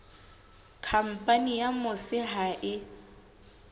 khampani ya mose ha e